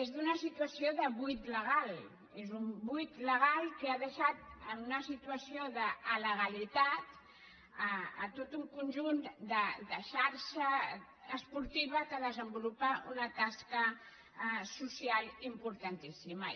és d’una situació de buit legal és un buit legal que ha deixat en una situació d’alegalitat tot un conjunt de xarxa esportiva que desenvolupa una tasca social importantíssima